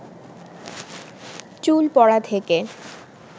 চুল পড়া থেকে